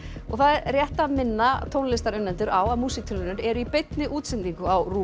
rétt að minna tónlistarunnendur á að músíktilraunir eru í beinni útsendingu á RÚV